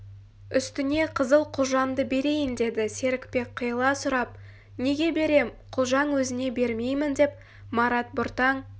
үстіне қызыл құлжамды берейін деді серікбек қиыла сұрап неге берем құлжаң өзіңе бермеймін деп марат бұртаң